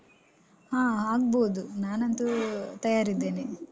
ಹ ಆಗ್ಬೋದು. ನಾನಂತೂ ತಯಾರಿದ್ದೇನೆ.